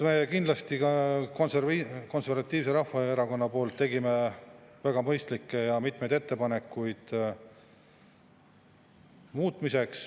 Konservatiivse Rahvaerakonna poolt me tegime mitmeid kindlasti väga mõistlikke muutmise ettepanekuid.